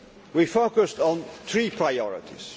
We focused on three priorities.